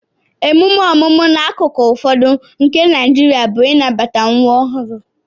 Emume ọmụmụ n'akụkụ ụfọdụ nke Naijiria bụ ịnabata nwa ọhụrụ